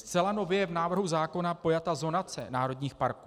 Zcela nově je v návrhu zákona pojata zonace národních parků.